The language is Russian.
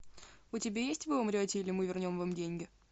у тебя есть вы умрете или мы вернем вам деньги